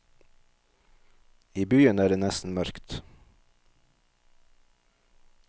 I byen er det nesten mørkt.